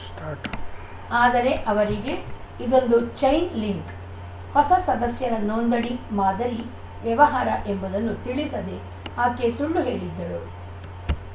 start ಆದರೆ ಅವರಿಗೆ ಇದೊಂದು ಚೈನ್‌ ಲಿಂಕ್‌ ಹೊಸ ಸದಸ್ಯರ ನೋಂದಣಿ ಮಾದರಿ ವ್ಯವಹಾರ ಎಂಬುದನ್ನು ತಿಳಿಸದೆ ಆಕೆ ಸುಳ್ಳು ಹೇಳಿದ್ದಳು